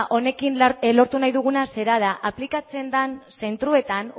honekin lotu nahi duguna zera da aplikatzen den zentroetan